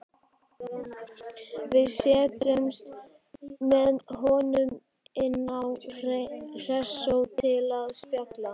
Við settumst með honum inn á Hressó til að spjalla.